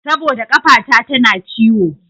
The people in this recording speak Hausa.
Saboda ƙafata tana ciwo.